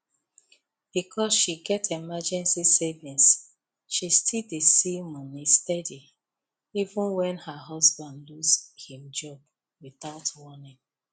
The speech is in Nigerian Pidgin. because she get emergency savings she still dey see money steady even when her husband lose him job without warning